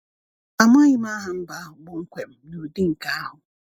Amaghị m aha mba ahụ kpọmkwem n’ụdị nke ahụ.